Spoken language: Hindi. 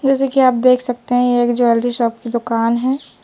जैसे कि आप देख सकते हैं ये एक ज्वेलरी शॉप की दुकान है।